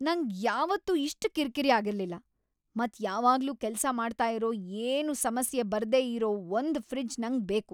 ನಂಗ್ ಯಾವತ್ತೂ ಇಷ್ಟ್ ಕಿರ್ಕಿರಿ ಆಗಿರ್ಲಿಲ್ಲ. ಮತ್ ಯಾವಾಗ್ಲೂ ಕೆಲ್ಸ ಮಾಡ್ತಾ ಇರೋ ಏನೂ ಸಮಸ್ಯೆ ಬರ್ದೇ ಇರೋ ಒಂದ್ ಫ್ರಿಜ್ ನಂಗ್ ಬೇಕು.